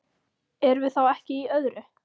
Erum við þá ekki í öðru?